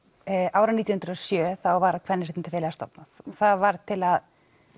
árið nítján hundruð og sjö var Kvenréttindafélagið stofnað það var til að